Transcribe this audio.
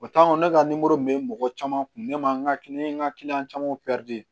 O ne ka nimoro min be mɔgɔ caman kun ne ma an ka kiliyan camanw